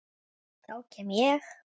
Þá kem ég